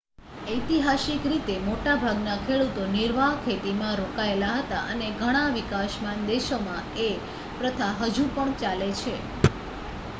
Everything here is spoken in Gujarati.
ઐતિહાસિક રીતે મોટા ભાગના ખેડૂતો નિર્વાહ ખેતીમાં રોકાયેલા હતા અને ઘણા વિકાસમાન દેશોમાં એ પ્રથા હજુ પણ ચાલે છે